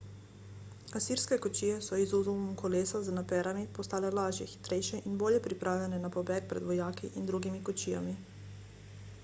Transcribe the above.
asirske kočije so z izumom kolesa z naperami postale lažje hitrejše in bolje pripravljene na pobeg pred vojaki in drugimi kočijami